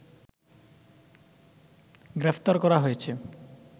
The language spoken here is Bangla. গ্রেপ্তার করা হয়েছে